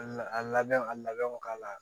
A labɛnw a labɛnw k'a la